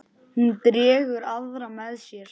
Hún dregur aðra með sér.